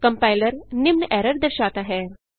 कंप्लायर निम्न एरर दर्शाता है